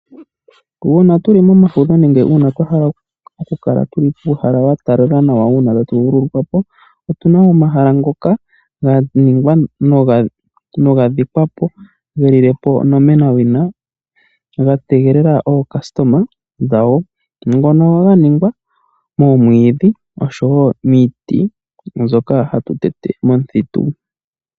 Uuna tu li momafudho nenge uuna twa hala okulala tu li muuhala wa talala nawa uuna tatu vululukwa po, otu na omahala ngoka ga ningwa niga dhikwa po, ge lile po onomenawina ga tegelela aayakulwa yago, mbono ya ningwa moomwiidhi nosho wo miiti mbyoka hatu tete momuthitu.